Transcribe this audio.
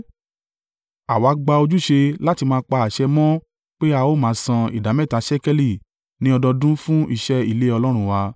“Àwa gbà ojúṣe láti máa pa àṣẹ mọ́ pé, a ó máa san ìdámẹ́ta ṣékélì ní ọdọọdún fún iṣẹ́ ilé Ọlọ́run wa: